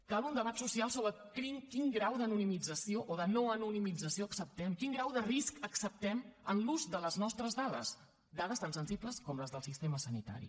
cal un debat social sobre quin grau d’anonimització o de no anonimització acceptem quin grau de risc acceptem en l’ús de les nostres dades dades tan sensibles com les del sistema sanitari